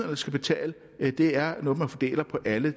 der skal betale det er noget man fordeler på alle